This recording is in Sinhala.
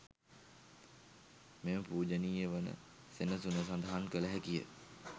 මෙම පූජනීය වන සෙනසුන සඳහන් කළ හැකිය.